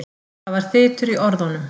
Það var þytur í orðunum.